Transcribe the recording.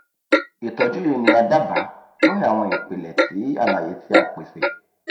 itọju yii ni a daba lori awọn ipilẹ ti alaye ti a pese